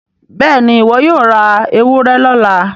béèni iwọ yóò rá ewúrẹ lọla.